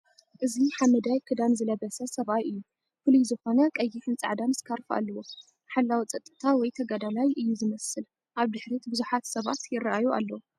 እዚ ሓመዳይ ክዳን ዝለበሰ ሰብኣይ እዩ፣ ፍሉይ ዝኾነ ቀይሕን ጻዕዳን ስካርፍ ኣለዎ። ሓላዊ ጸጥታ ወይ ተጋዳላይ እዩ ዝመስል። ኣብ ድሕሪት ብዙሓት ሰባት ይረአዩ ኣለዉ።